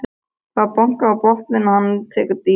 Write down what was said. Það er bankað í botninn, hann tekur dýfu.